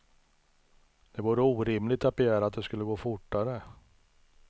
Det vore orimligt att begära att det skulle gå fortare.